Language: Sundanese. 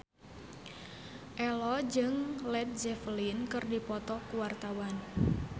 Ello jeung Led Zeppelin keur dipoto ku wartawan